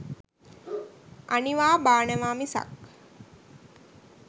අනිවා බානවා මිසක්